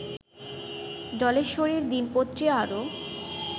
জলেশ্বরীর দিনপত্রী আরও